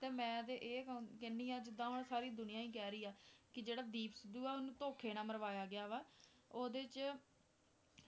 ਤੇ ਮੈਂ ਤੇ ਇਹ ਕ~ ਕਹਿੰਦੀ ਹਾਂ ਜਿੱਦਾਂ ਹੁਣ ਸਾਰੀ ਦੁਨੀਆਂ ਹੀ ਕਹਿ ਰਹੀ ਆ, ਕਿ ਜਿਹੜਾ ਦੀਪ ਸਿੱਧੂ ਆ ਉਹਨੂੰ ਧੌਖੇ ਨਾਲ ਮਰਵਾਇਆ ਗਿਆ ਵਾ ਉਹਦੇ 'ਚ